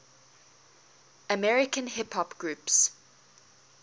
american hip hop groups